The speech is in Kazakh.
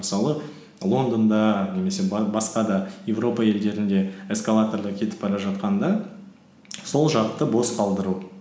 мысалы лондонда немесе басқа да европа елдерінде эскалаторда кетіп бара жатқанда сол жақты бос қалдыру